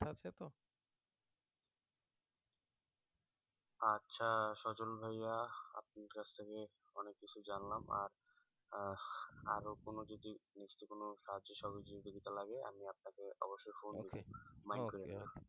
আচ্ছা সজল ভাইয়া আপনার কাছ থেকে অনেক কিছু জানলাম আর আরো আহ কোন যদি student কোনো সাহায্য সহযোগিতা লাগে আমি আপনাকে অবশ্যই ফোন দিব